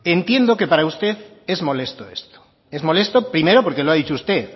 entiendo que para usted es molesto esto es molesto primero porque lo ha dicho usted